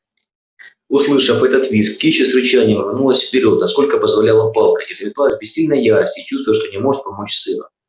услышав этот визг кичи с рычанием рванулась вперёд насколько позволяла палка и заметалась в бессильной ярости чувствуя что не может помочь сыну